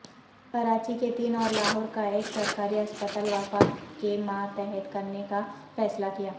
کراچی کے تین اور لاہور کا ایک سرکاری اسپتال وفاق کےماتحت کرنے کا فیصلہ کیا